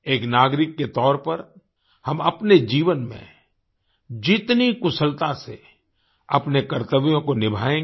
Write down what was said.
एक नागरिक के तौर पर हम अपने जीवन में जितनी कुशलता से अपने कर्तव्यों को निभायेंगे